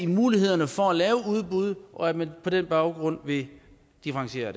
mulighederne for at lave udbud og at man på den baggrund vil differentiere